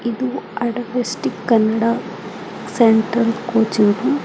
ಇದು ಅಡ್ವೇಸ್ಟಿಕ್ Kannada central coaching.